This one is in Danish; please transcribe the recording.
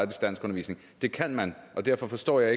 danskundervisning det kan man og derfor forstår jeg